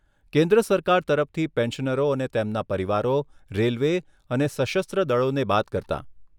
કેન્દ્ર સરકાર તરફથી પેન્શનરો અને તેમના પરિવારો, રેલવે અને સશસ્ત્ર દળોને બાદ કરતાં.